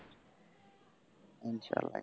হম চলো রাখছি।